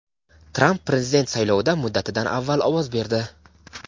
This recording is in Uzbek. Tramp prezident saylovida muddatidan avval ovoz berdi.